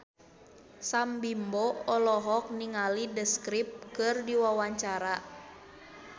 Sam Bimbo olohok ningali The Script keur diwawancara